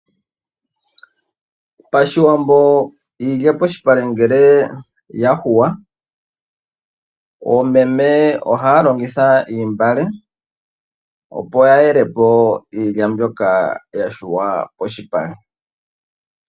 PaShiwambo iilya polupale ngele yahuwa oomeme ohaya longitha oontungwa opo ya yelepo iilya mbyoka yahuwa polupale.